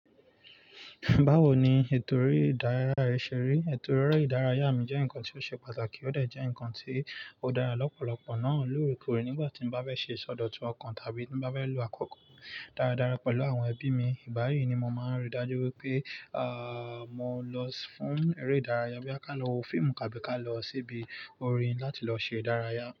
Báwo ni ètò eré ìdárayá ṣe rí? Ètò eré ìdárayá mi jẹ́ nǹkan tí ó ṣe pàtàkì ó dà jẹ́ nǹkan tí ó dára lọ́pọ̀lọpọ̀ náà lórí ikore nígbà tí mo bá bá ṣe sọdọ̀tun ọkàn tàbí tí n bá bá lo àkókò dáradára pẹ̀lú àwọn ẹbí mi. Ìbá yí ni mo máa ń rí dájú wípé, ààh, mo lọ fún eré ìdárayá bí kà lọ wo fíìmù kàbí kà lọ síbi orin láti lọ ṣe ìdárayá mi.